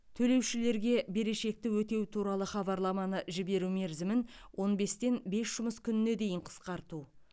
төлеушілерге берешекті өтеу туралы хабарламаны жіберу мерзімін он бестен бес жұмыс күніне дейін қысқарту